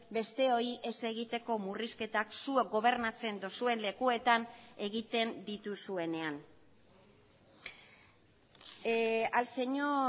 besteoi ez egiteko murrizketak zuek gobernatzen duzuen lekuetan egiten dituzuenean al señor